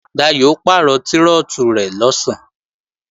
Dayò ó pàrọ̀ trọ́tù rẹ̀ lọ̀sán